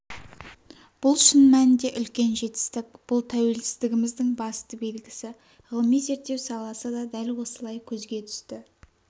бұл шын мәнінде үлкен жетістік бұл тәуелсіздігіміздің басты белгісі ғылыми-зерттеу саласы да дәл осылай көзге түсті